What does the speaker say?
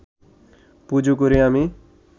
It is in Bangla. পুজো করি আমি